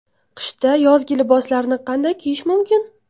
Qishda yozgi liboslarni qanday kiyish mumkin?